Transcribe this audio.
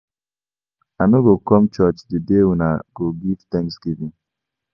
I no go come church the day una go give Thanksgiving